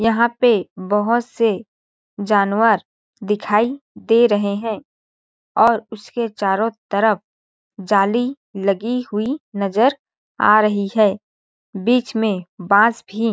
यहाँ पे बहुत से जानवर दिखाई दे रहे है और उसके चारों तरफ जाली लगी हुई नजर आ रही है बीच में बांस भी --